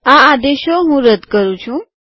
આ આદેશો હું રદ કરું છું